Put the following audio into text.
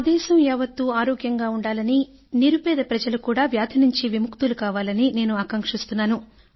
నా దేశం యావత్తు ఆరోగ్యంగా ఉండాలని నిరుపేద ప్రజలు కూడా వ్యాధి నుండి విముక్తులు కావాలని నేను ఆకాంక్షిస్తున్నాను